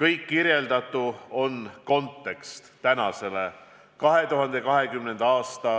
Kõik äsja kirjeldatu on kontekst tänasele 2020. aasta